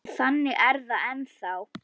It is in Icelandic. Og þannig er það ennþá.